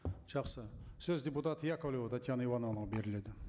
жақсы сөз депутат яковлева татьяна ивановнаға беріледі